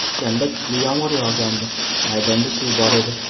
O‘shanda kuchli yomg‘ir yog‘gandi, maydonda suv bor edi.